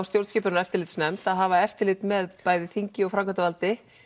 stjórnskipunar og eftirlitsnefndarinnar að hafa eftirlit með bæði þingi og framkvæmdarvaldi